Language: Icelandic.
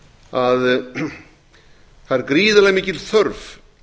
að það er gríðarlega mikil þörf